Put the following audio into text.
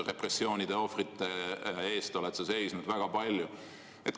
Repressioonide ohvrite eest oled sa seisnud väga kindlalt.